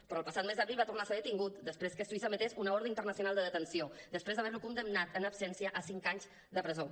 però el passat mes d’abril va tornar a ser detingut després que suïssa emetés una ordre internacional de detenció després d’haver lo condemnat en absència a cinc anys de presó